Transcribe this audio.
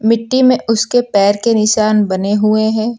मिट्टी में उसके पैर के निशान बने हुए हैं।